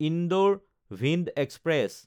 Indore-Bhind express